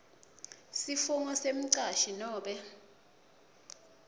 sifungo semcashi nobe